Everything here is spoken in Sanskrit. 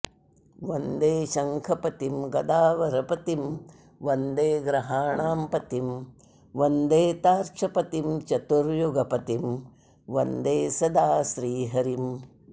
वन्दे शङ्खपतिं गदावरपतिं वन्दे ग्रहाणां पतिं वन्दे तार्क्षपतिं चतुर्युगपतिं वन्दे सदा श्रीहरिम्